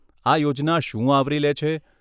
આ યોજના શું આવરી લે છે?